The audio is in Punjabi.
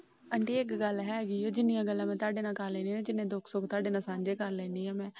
Aunty ਇੱਕ ਗੱਲ ਹੇਗੀ ਜਿੰਨੀਆਂ ਗੱਲਾਂ ਮੈ ਤੁਹਾਡੇ ਨਾਲ ਕਰ ਲੈਣੀ ਆ ਜਿੰਨੇ ਦੁੱਖ ਸੁੱਖ ਤੁਹਾਡੇ ਨਾਲ ਸਾਂਝੇ ਕਰ ਲੈਣੀ ਆ ਮੈ।